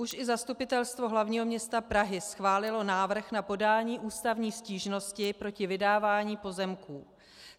Už i Zastupitelstvo hlavního města Prahy schválilo návrh na podání ústavní stížnosti proti vydávání pozemků.